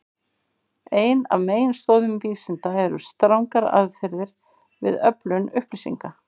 Ein af meginstoðum vísinda eru strangar aðferðir við öflun upplýsinga.